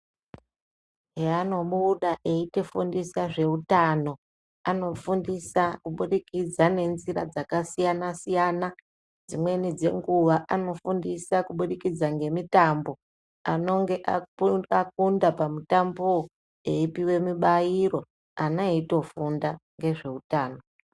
Pavanobuda veitifundisa zvehutano anofundisa kubudikidza ngenzira dzakasiyana siyana dzimweni dzenguwa anofundisa kubudikidza ngemutambo anonge akunda pamutambo apa epuwa mubairo ana eitofunda nezvemutambo.